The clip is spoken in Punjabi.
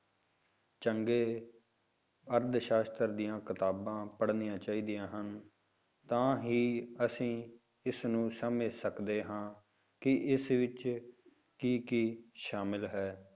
ਚੰਗੇ ਅਰਥ ਸਾਸ਼ਤਰ ਦੀਆਂ ਕਿਤਾਬਾਂ ਪੜ੍ਹਨੀਆਂ ਚਾਹੀਦੀਆਂ ਹਨ, ਤਾਂ ਹੀ ਅਸੀਂ ਇਸ ਨੂੰ ਸਮਝ ਸਕਦੇ ਹਾਂ ਕਿ ਇਸ ਵਿੱਚ ਕੀ ਕੀ ਸ਼ਾਮਿਲ ਹੈ।